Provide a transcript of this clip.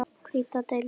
Hvíta deildin